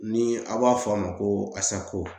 Ni aw b'a fɔ a ma ko ASACO